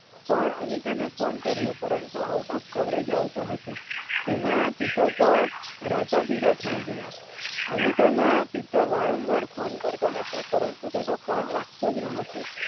પણ અનિતાને phone કર્યો પણ out of coverage આવતો હતો તેના પિતા તો રાતાપીળા થઈ ગયાં અનિતાનાં પિતા વારંવાર phone કરતાં હતાં પરંતુ તેનો phone લાગતો જ ન હતો.